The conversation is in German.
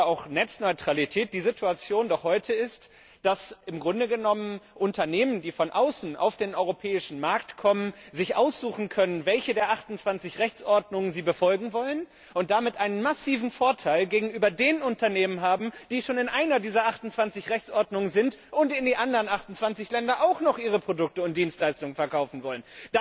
oder auch Netzneutralität die Situation doch heute ist, dass sich im Grunde genommen Unternehmen, die von außen auf den europäischen Markt kommen, aussuchen können, welche der 28 Rechtsordnungen sie befolgen wollen, und damit einen massiven Vorteil gegenüber den Unternehmen haben, die schon in einer dieser 28 Rechtsordnungen sind und in die anderen 28 Länder auch noch ihre Produkte und Dienstleistungen verkaufen wollen.